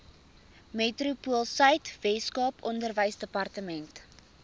metropoolsuid weskaap onderwysdepartement